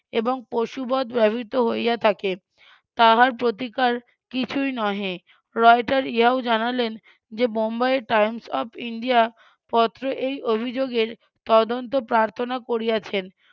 এবং পশুবধ ব্যবহৃত হইয়া থাকে তাহার প্রতিকার কিছুই নহে রয়টার ইহাও জানালেন যে বোম্বাইয়ের times of ইন্ডিয়া পত্র এই অভিযোগের তদন্ত প্রার্থনা করিয়াছেন.